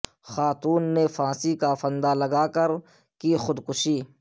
خاتون نے پھانسی کا پھندالگا کر کی خود کشی